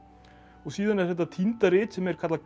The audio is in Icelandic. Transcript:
síðan er þetta týnda rit sem er kallað